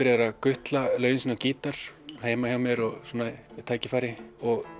að gutla lögin sín á gítar heima hjá mér við tækifæri